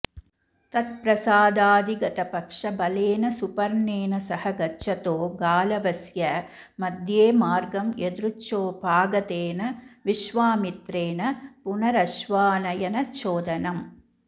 तत्प्रसादाधिगतपक्षबलेन सुपर्णेन सह गच्छतो गालवस्य मध्येमार्गं यदृच्छोपागतेन विश्वामित्रेण पुनरश्वानयनचोदनम्